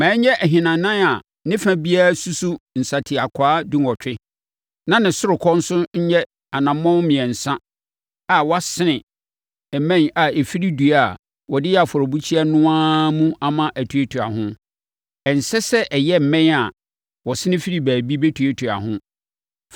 Ma ɛnyɛ ahinanan a ne fa biara susu nsateakwaa dunwɔtwe, na ne ɔsorokɔ nso nyɛ anammɔn mmiɛnsa a wɔasene mmɛn a ɛfiri dua a wɔde yɛɛ afɔrebukyia no ara mu ama ɛtuatua ho. Ɛnsɛ sɛ ɛyɛ mmɛn a wɔsene firi baabi bɛtuatuaa ho.